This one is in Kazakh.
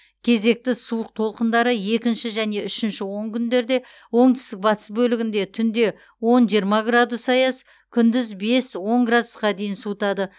кезекті суық толқындары екінші және үшінші онкүндерде оңтүстік батыс бөлігінде түнде он жиырма градус аяз күндіз бес он градусқа дейін суытады